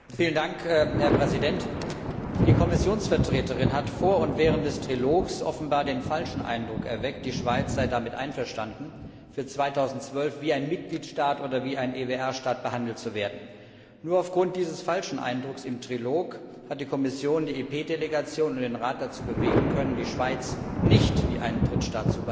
Herr Präsident! Die Vertreterin der Kommission hat vor und während des Trilogs offenbar den falschen Eindruck erweckt, die Schweiz sei damit einverstanden, für 2012 wie ein Mitgliedstaat oder wie ein EWR Staat behandelt zu werden. Nur aufgrund dieses falschen Eindrucks im Trilog hat die Kommission die EP Delegation und den Rat dazu bewegen können, die Schweiz nicht wie einen Drittstaat zu behandeln.